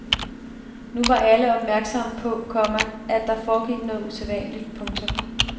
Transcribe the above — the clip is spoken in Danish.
Nu var alle opmærksomme på, komma at der foregik noget usædvanligt. punktum